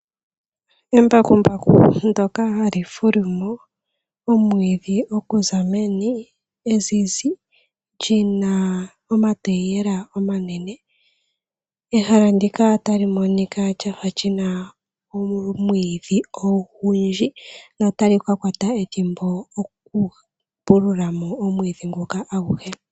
Embakumbaku ndoka hali fulumo omwidhi, okuza meni ezizi lina omatayiyela omanene. Ehala ndika tali monika lafa lina omwidhi ogundji ,notalika kwata ethimbo oku pululamo omwidhi nguka aguhe.